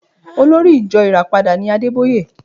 Olórí ìjo Ìràpadà ni Adébóyè